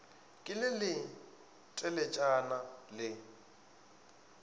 ke le le teletšana le